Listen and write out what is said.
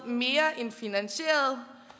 mere end finansieret